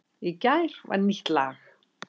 Í gær var nýtt lag